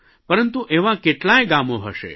પરંતુ એવાં કેટલાંય ગામો હશે